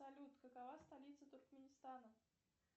салют какова столица туркменистана